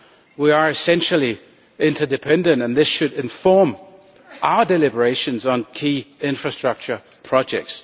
We are essentially interdependent and this should inform our deliberations on key infrastructure projects.